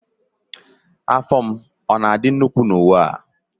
Afọ m ọ na-adị nnukwu na uwe a?